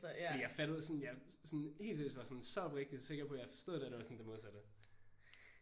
Fordi jeg fattede sådan jeg sådan helt seriøst var sådan så oprigtigt sikker på at jeg forstod det og det var sådan det modsatte